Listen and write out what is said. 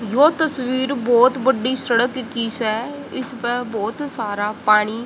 यो तस्वीर बोहोत बड़ी सडक की से इसपे बोहोत सारा पानी--